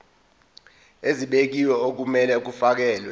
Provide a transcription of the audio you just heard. ezibekiwe okumele kufakelwe